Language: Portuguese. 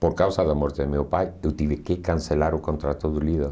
Por causa da morte do meu pai, eu tive que cancelar o contrato do lido.